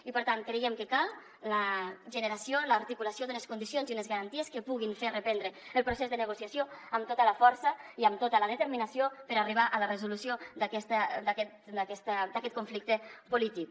i per tant creiem que cal la generació l’articulació d’unes condicions i unes garanties que puguin fer reprendre el procés de negociació amb tota la força i amb tota la determinació per arribar a la resolució d’aquest conflicte polític